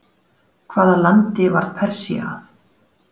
Hvaða landi varð Persía að?